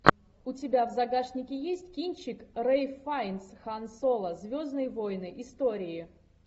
у тебя в загашнике есть кинчик рэйф файнс хан соло звездные войны истории